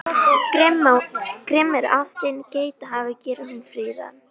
Grimm er ástin, geithafur gerir hún fríðan.